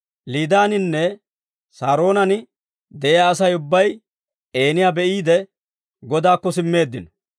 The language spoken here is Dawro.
Liidaaninne Saaroonan de'iyaa Asay ubbay Eeniyaa be'iide, Godaakko simmeeddino.